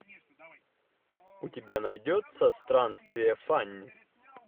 у тебя найдется странствие фанни